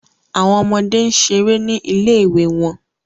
Awọn ọmọde n ṣere ni ile-iwe wọn